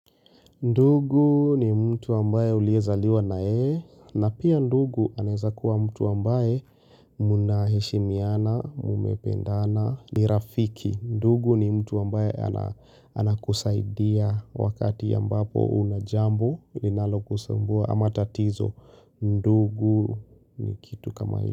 Ndugu ni mtu ambaye uliezaliwa na yeye na pia ndugu anaeza kuwa mtu ambaye mnaheshimiana mumependana ni rafiki. Ndugu ni mtu ambaye anakusaidia wakati ambapo unajambo linalo kusumbua ama tatizo. Ndugu ni kitu kama hilo.